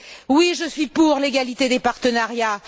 Oui, je suis pour l'égalité des partenariats!